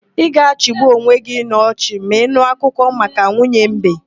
Ị ga-achịgbu onwe gị n'ochị ma ị nụ akụkọ maka nwunye mbe.